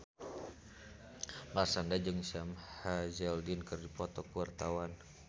Marshanda jeung Sam Hazeldine keur dipoto ku wartawan